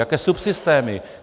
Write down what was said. Jaké subsystémy?